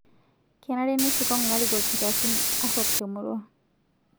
Kenare nisikong' larikok nkiasin aruok te murua